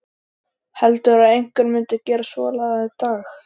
Heldurðu að einhver myndi gera svonalagað í dag?